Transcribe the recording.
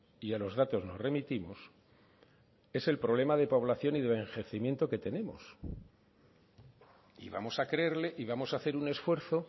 y a los datos nos remitimos es el problema de población y de envejecimiento que tenemos y vamos a creerle y vamos a hacer un esfuerzo